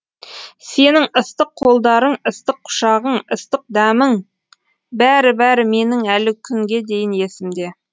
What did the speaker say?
сенің ыстық қолдарың ыстық құшағың ыстық дәмің бәрі бәрі менің әлі күнге дейін есімде